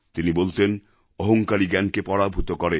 তিনি বলতেন অহঙ্কারই জ্ঞানকে পরাভূত করে